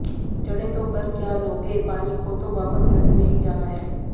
चढ़े तो कर क्या लोगे पानी को तो वापस नदी में ही जाना है